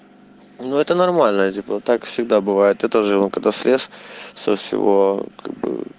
ну это нормальная типа так всегда бывает я тоже вон когда слез со всего